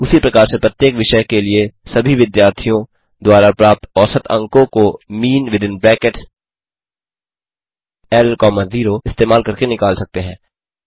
उसी प्रकार से प्रत्येक विषय के लिए सभी विद्यार्थियों द्वारा प्राप्त औसत अंकों को मीन विथिन ब्रैकेट्स ल कॉमा 0 इस्तेमाल करके निकाल सकते हैं